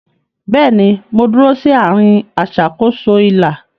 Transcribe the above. Bẹ́ẹ̀ni, mo dúró sí àárín aṣàkóso ilà.